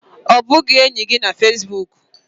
Ọ bụ enyi gị na Fesbuk?